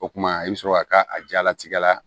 O kumana i bɛ sɔrɔ ka ka a jalatigɛ la